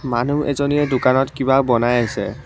মানুহ এজনীয়ে দোকানত কিবা বনাই আছে।